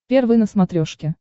первый на смотрешке